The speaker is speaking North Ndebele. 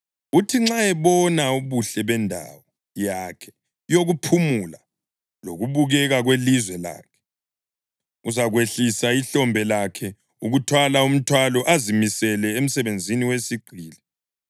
Uthi nxa ebona ubuhle bendawo yakhe yokuphumula lokubukeka kwelizwe lakhe, uzakwehlisa ihlombe lakhe ukuthwala umthwalo azimisele emsebenzini wesigqili.